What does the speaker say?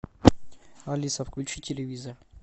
алиса включи телевизор